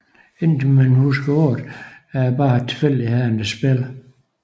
Indtil man husker på at det bare er tilfældighedernes spil